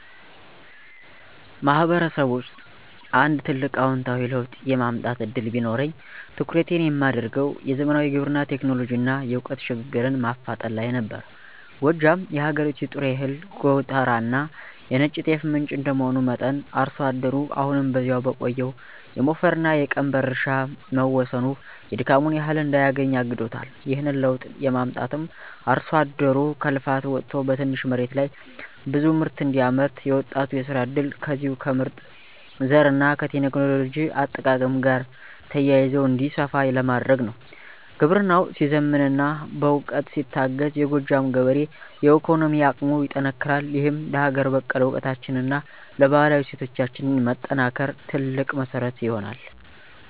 ማህበረሰብ ውስጥ አንድ ትልቅ አዎንታዊ ለውጥ የማምጣት ዕድል ቢኖረኝ፣ ትኩረቴን የማደርገው "የዘመናዊ ግብርና ቴክኖሎጂንና የዕውቀት ሽግግርን" ማፋጠን ላይ ነበር። ጎጃም የሀገሪቱ የጥሬ እህል ጎተራና የነጭ ጤፍ ምንጭ እንደመሆኑ መጠን፣ አርሶ አደሩ አሁንም በዚያው በቆየው የሞፈርና የቀንበር እርሻ መወሰኑ የድካሙን ያህል እንዳያገኝ አግዶታል። ይህንን ለውጥ የማመጣውም አርሶ አደሩ ከልፋት ወጥቶ በትንሽ መሬት ላይ ብዙ ምርት እንዲያመርት፣ የወጣቱ የሥራ ዕድልም ከዚሁ ከምርጥ ዘርና ከቴክኖሎጂ አጠቃቀም ጋር ተያይዞ እንዲሰፋ ለማድረግ ነው። ግብርናው ሲዘምንና በዕውቀት ሲታገዝ፣ የጎጃም ገበሬ የኢኮኖሚ አቅሙ ይጠነክራል፤ ይህም ለሀገር በቀል ዕውቀታችንና ለባህላዊ እሴቶቻችን መጠናከር ትልቅ መሠረት ይሆናል።